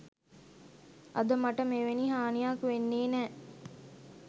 අද මට මෙවැනි හානියක් වෙන්නේ නෑ.